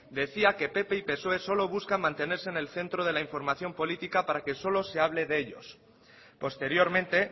decía que pp y psoe solo buscan mantenerse en el centro de la información política para que solo se hable de ellos posteriormente